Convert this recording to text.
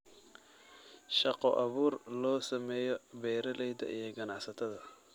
Shaqo abuur loo sameeyo beeralayda iyo ganacsatada.